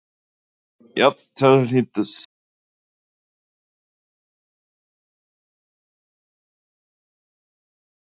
Jafnteflið hlýtur samt að vera vonbrigði miðað við hvernig leikurinn spilaðist?